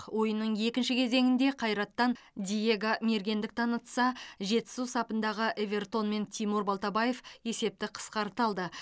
ойынның екінші кезеңінде қайраттан диего мергендік танытса жетісу сапындағы эвертон мен тимур балтабаев есепті қысқарта алды